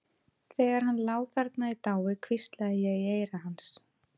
Þegar hann lá þarna í dái hvíslaði ég í eyra hans.